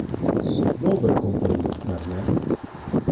Dober kompromis, mar ne?